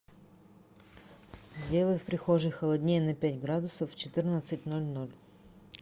сделай в прихожей холоднее на пять градусов в четырнадцать ноль ноль